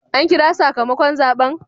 An kira sakamakon zaben?